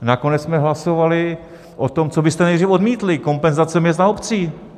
Nakonec jsme hlasovali o tom, co byste nejdříve odmítli - kompenzace měst a obcí.